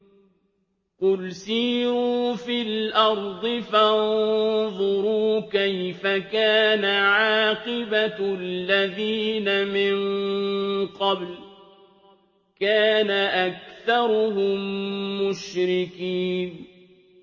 قُلْ سِيرُوا فِي الْأَرْضِ فَانظُرُوا كَيْفَ كَانَ عَاقِبَةُ الَّذِينَ مِن قَبْلُ ۚ كَانَ أَكْثَرُهُم مُّشْرِكِينَ